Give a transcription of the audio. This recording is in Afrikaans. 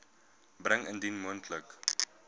bring indien moontlik